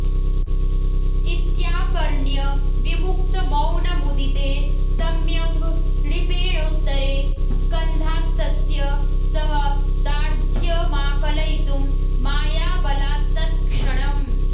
इत्याकर्ण्य विमुक्तमौनमुदिते सम्यङ् नृपेणोत्तरे स्कन्धात्तस्य सः दार्ढ्यमाकलयितुं मायाबलात्तत्क्षणम्